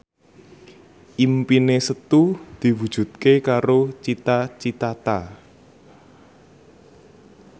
impine Setu diwujudke karo Cita Citata